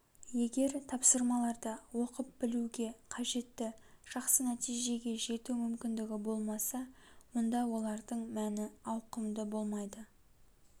егер тапсырмаларда оқып білуге қажетті жақсы нәтижеге жету мүмкіндігі болмаса онда олардың мәні ауқымды болмайды